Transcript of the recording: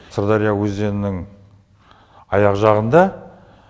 сырдария өзенінің аяқ жағында